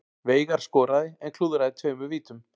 Veigar skoraði en klúðraði tveimur vítum